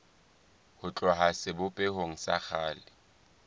ho tloha sebopehong sa kgale